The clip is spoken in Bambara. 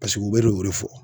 Paseke u bɛ n'o de fɔ.